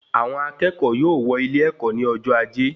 Àwọn akẹ́kọ̀ọ́ yóò wọ ilé-èkó ní ọjọ ajé